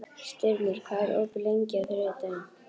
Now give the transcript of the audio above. Styrmir, hvað er opið lengi á þriðjudaginn?